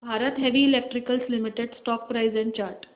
Bharat heavy electricals limited stock price and chart